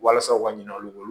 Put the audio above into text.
Walasa u ka ɲinɛ olu bolo